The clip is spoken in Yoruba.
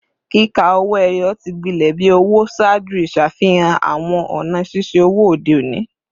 Kika owo eyo ti gbilẹ bi owo ṣaaju iṣafihan awọn ọna ṣiṣe owo ode oni